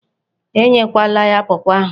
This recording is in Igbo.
E nyekwala ya pawpaw ahụ.